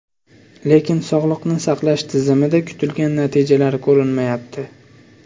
Lekin sog‘liqni saqlash tizimida kutilgan natijalar ko‘rinmayapti.